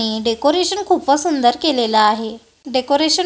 decoration खूपच सुंदर केलेलं आहे डेकोरेशन --